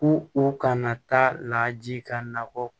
Ko u kana taa laaji ka nakɔ